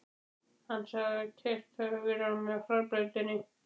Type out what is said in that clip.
Hann sagði að keyrt hefði verið á mig á hraðbrautinni.